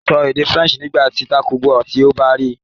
Sọ Faranse nikan nigbakugba ti o ba ri i